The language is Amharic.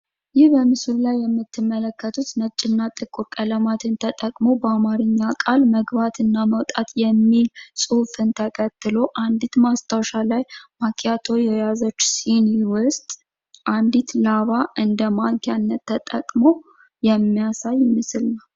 ይህ በምስሉ ላይ የምትመለከቱት ነጭና ጥቁር ቀለም ተጠቅሞ፤ በአማርኛ ቃል መግባትና መውጣት የሚል ጽሑፍን ተከትሎ አንዲት ማስታወሻ ማኪያቶ የያዘች ሲኒ ዉስጥ አንዲት ላባ እንደ ማንኪያነት ተጠቅሞ የሚያሳይ ምስል ነው።